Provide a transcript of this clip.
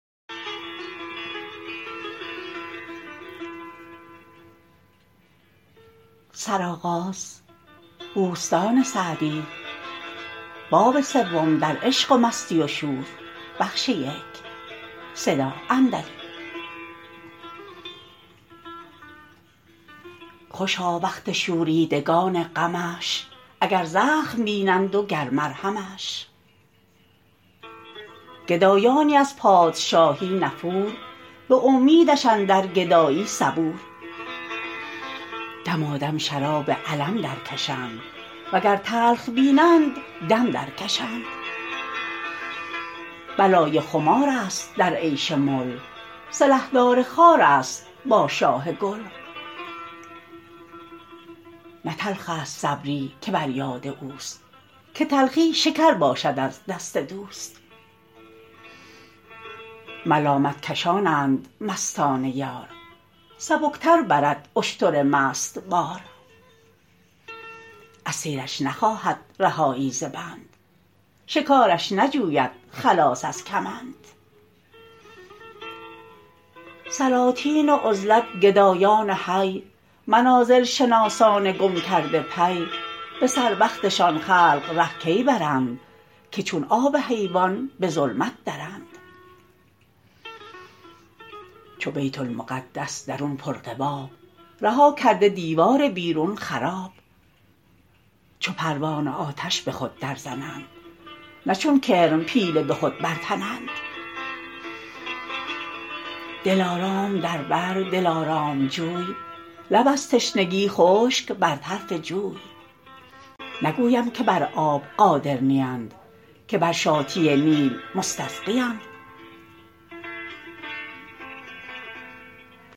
خوشا وقت شوریدگان غمش اگر زخم بینند و گر مرهمش گدایانی از پادشاهی نفور به امیدش اندر گدایی صبور دمادم شراب الم در کشند وگر تلخ بینند دم در کشند بلای خمار است در عیش مل سلحدار خار است با شاه گل نه تلخ است صبری که بر یاد اوست که تلخی شکر باشد از دست دوست ملامت کشانند مستان یار سبک تر برد اشتر مست بار اسیرش نخواهد رهایی ز بند شکارش نجوید خلاص از کمند سلاطین عزلت گدایان حی منازل شناسان گم کرده پی به سر وقتشان خلق ره کی برند که چون آب حیوان به ظلمت درند چو بیت المقدس درون پر قباب رها کرده دیوار بیرون خراب چو پروانه آتش به خود در زنند نه چون کرم پیله به خود برتنند دلارام در بر دلارام جوی لب از تشنگی خشک بر طرف جوی نگویم که بر آب قادر نیند که بر شاطی نیل مستسقیند